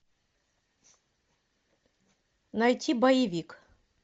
найти боевик